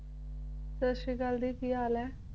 ਸਤਿ ਸ਼੍ਰੀ ਅਕਾਲ ਦੀ ਕੀ ਹਾਲ ਐ